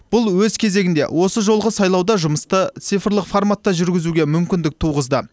бұл өз кезегінде осы жолғы сайлауда жұмысты цифрлық форматта жүргізуге мүмкіндік туғызды